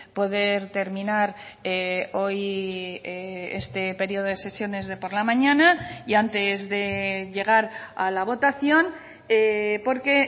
poder terminar hoy este periodo de sesiones de por la mañana y antes de llegar a la votación porque